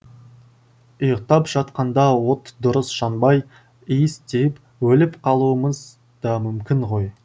ұйықтап жатқанда от дұрыс жанбай иіс тиіп өліп қалуымыз да мүмкін ғой